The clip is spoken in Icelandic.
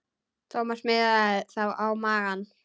Thomas miðaði þá á magann.